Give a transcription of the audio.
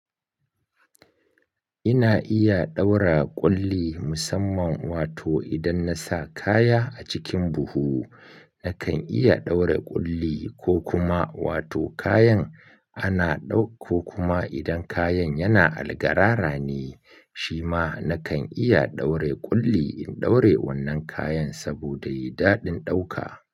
Ina iya ɗaura ƙulli musamman wato idan na sa kaya a cikin buhu nakan iya ɗaura ƙulli ko kuma wato kayan ana ɗau ko kuma idan kayan yana algarara ne shi ma nakan iya ɗaure ƙulli in ɗaure wannan kayan saboda yayi daɗin ɗauka.